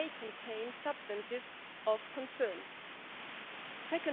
that more than half of EU plastics waste is recycled today it's only